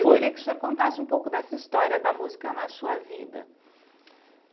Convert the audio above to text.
Foi. Eu queria que o senhor contasse um pouco dessa história da música na sua vida.